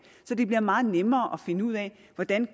så det bliver meget nemmere at finde ud af hvordan